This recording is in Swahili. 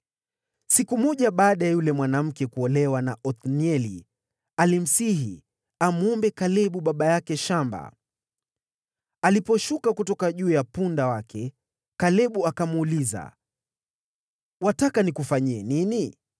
Siku moja Aksa alipokuja kwa Othnieli, alimsihi Othnieli amwombe baba yake, Kalebu, shamba. Aksa aliposhuka kutoka juu ya punda wake, Kalebu akamuuliza, “Je, wataka nikufanyie nini?”